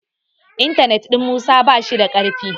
intanet ɗin Musa ba shi da karfi